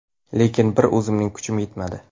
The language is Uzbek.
Lekin bir o‘zimning kuchim yetmadi.